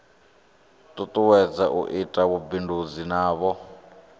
tutuwedza u ita vhubindudzi navho